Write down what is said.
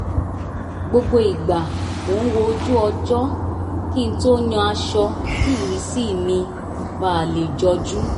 gbogbo ìgbà mo ń wo ojú ọjọ́ kí n tó yan aṣọ kí ìrísí mi ba lẹ̀ jọjú